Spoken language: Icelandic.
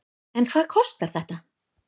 En hvað kostar þetta?